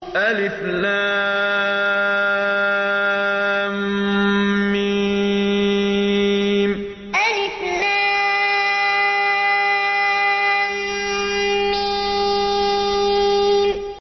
الم الم